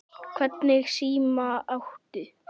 Hvernig síma áttu?